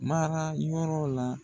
Mara yɔrɔ la.